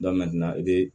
i bɛ